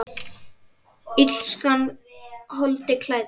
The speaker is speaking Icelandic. Illskan holdi klædd?